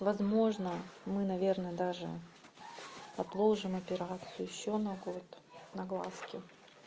возможно мы наверное даже отложим операцию ещё на год на глазки